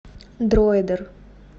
дройдер